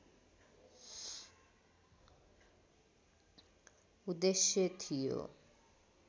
उद्देश्य थियो